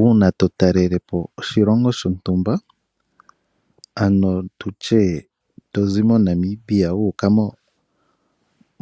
Uuna to talele po oshilongo shontumba, ano to zi moNamibia wu uka